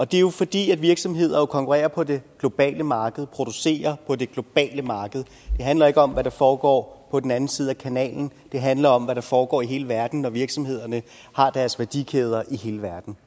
det er jo fordi virksomheder konkurrerer på det globale marked og producerer på det globale marked det handler ikke om hvad der foregår på den anden side af kanalen det handler om hvad der foregår i hele verden når virksomhederne har deres værdikæder i hele verden